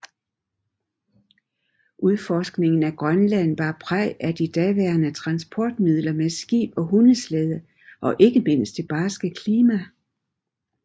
Udforskningen af Grønland bar præg af de daværende transportmidler med skib og hundeslæde og ikke mindst det barske klima